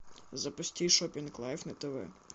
запусти шопинг лайф на тв